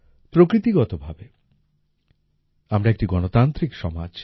প্রকৃতিগতভাবে আমরা একটি গণতান্ত্রিক সমাজ